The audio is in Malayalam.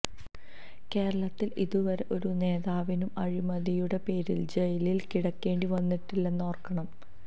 കേരളത്തിൽ ഇതുവരെ ഒരു നേതാവിനും അഴിമതിയുടെ പേരിൽ ജയിലിൽ കിടക്കേണ്ടി വന്നിട്ടില്ല എന്നോർക്കണം